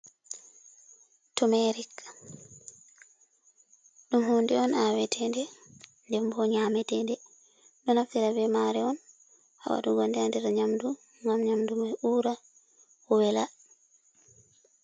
Tomerik dum hunde on awetende ndembo nyametende, ɗo naftira ɓe mare on ha watugo nde nder nyamdu ngam nyamdu ma ura wela.